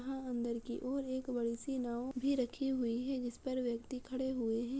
यहाॅं अंदर की ओर एक बड़ी सी नाव भी रखी हुई है जिस पर व्यक्ति खड़े हुये हैं।